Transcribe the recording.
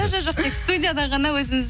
жо жо жоқ тек студияда ғана өзіміз